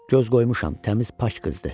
Göz qoymuşam, təmiz pak qızdır.